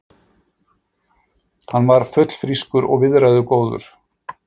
Hann var fullfrískur og viðræðugóður.